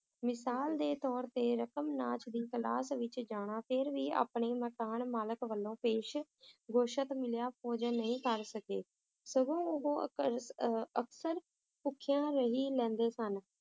ਮਿਸਾਲ ਦੇ ਤੌਰ ਤੇ ਰਕਮਨਾਥ ਦੀ class ਵਿਚ ਜਾਣਾ ਫੇਰ ਵੀ ਆਪਣੀ ਮਕਾਨ ਮਾਲਿਕ ਵਲੋਂ ਪੇਸ਼ ਗੋਸ਼ਤ ਮਿਲਿਆ ਭੋਜਨ ਨਹੀਂ ਕਰ ਸਕੇ ਸਗੋਂ l ਉਹ ਅਖਰ~ ਅਹ ਅਕਸਰ ਭੁੱਖਿਆਂ ਰਹਿ ਲੈਂਦੇ ਸਨ